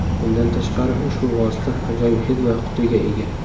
Bundan tashqari, ushbu vosita ajoyib hid va qutiga ega.